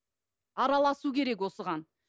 араласу керек осыған